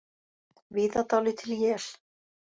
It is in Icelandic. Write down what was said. Víða dálítil él